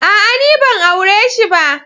A'a! Ni ban aure shi ba.